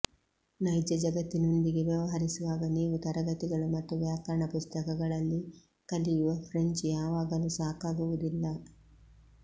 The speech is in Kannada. ನೈಜ ಜಗತ್ತಿನೊಂದಿಗೆ ವ್ಯವಹರಿಸುವಾಗ ನೀವು ತರಗತಿಗಳು ಮತ್ತು ವ್ಯಾಕರಣ ಪುಸ್ತಕಗಳಲ್ಲಿ ಕಲಿಯುವ ಫ್ರೆಂಚ್ ಯಾವಾಗಲೂ ಸಾಕಾಗುವುದಿಲ್ಲ